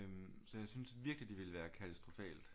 Så jeg synes virkelig det ville være katastrofalt